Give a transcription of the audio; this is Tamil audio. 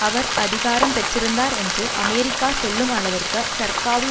அவர் அதிகாரம் பெற்றிருந்தார் என்று அமெரிக்கா சொல்லும் அளவிற்கு சர்காவி